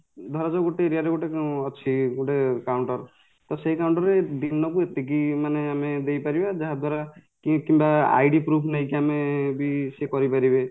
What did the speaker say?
ଧରାଯାଉ ଗୋଟେ area ରେ ଗୋଟେ ଅଛି ଗୋଟେ counter ତ ସେଇ counter ଦିନକୁ ଏତିକି ମାନେ ଆମେ ଦେଇପାରିବ ଯାହାଦ୍ଵାରା କି କିମ୍ବା ID proof ନେଇକି ଆମେବି ସେ କରିପାରିବେ